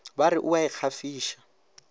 ba re o a ikgafiša